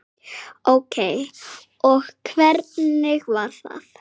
Ókei og hvernig var það?